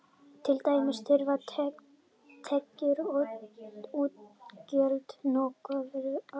Til dæmis þurfa tekjur og útgjöld nokkurn veginn að vega salt.